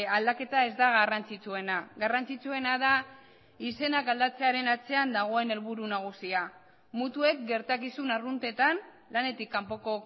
aldaketa ez da garrantzitsuena garrantzitsuena da izenak aldatzearen atzean dagoen helburu nagusia mutuek gertakizun arruntetan lanetik kanpoko